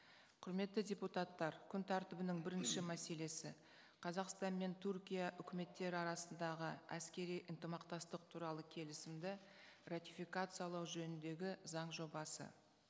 құрметті депутаттар күн тәртібінің бірінші мәселесі қазақстан мен түркия үкіметтері арасындағы әскери ынтымақтастық туралы келісімді ратификациялау жөніндегі заң жобасы